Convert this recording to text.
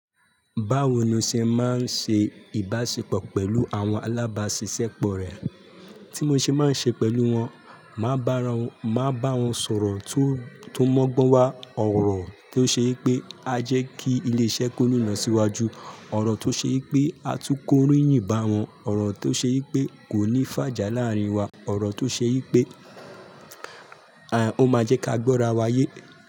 Báwo ni o ṣe máa ń ṣe ìbáṣepọ̀ pẹ̀lú àwọn alábáṣiṣẹ́ pọ̀ rẹ? Tí mo ṣe máa ń ṣe pẹ̀lú wọn, màá bá wọn sọ̀rọ̀ tó mọ́gbọ́n wá, ọ̀rọ̀ tó ṣe wipé a jẹ́ kí ilé-iṣẹ́ kó nínà síwájú, ọ̀rọ̀ tó ṣe wipé a tún kóríyìn bá wọn, ọ̀rọ̀ tó ṣe wipé kò ní fàjà láàárín wa, ọ̀rọ̀ tó ṣe wipé ó máa jẹ́ ká gbọ́ra wa yé.